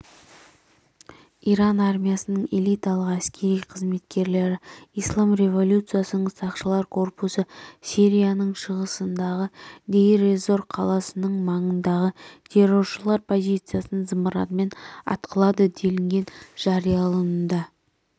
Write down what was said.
иран армиясының элиталық әскери қызметкерлері ислам революциясының сақшылар корпусы сирияның шығысындағы дейр-эз-зор қаласының маңындағы терроршылар позициясын зымыранмен атқылады делінген жарияланымда